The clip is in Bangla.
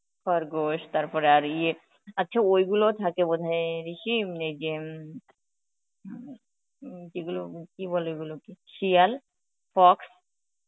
খরগোশ তারপরে আর ইয়ে, আচ্ছা ওইগুলোও থাকে বোধ হয় অ্যাঁ কি মানে ইয়ে উম যেগুলো কি বলে ওগুলোকে, শিয়াল? fox?